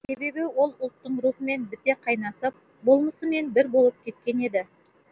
себебі ол ұлттың рухымен біте қайнасып болмысымен бір болып кеткен еді